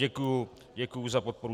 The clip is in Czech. Děkuju za podporu.